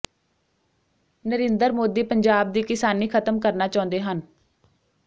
ਨਰਿੰਦਰ ਮੋਦੀ ਪੰਜਾਬ ਦੀ ਕਿਸਾਨੀ ਖਤਮ ਕਰਨਾ ਚਾਹੁੰਦੇ ਹਨ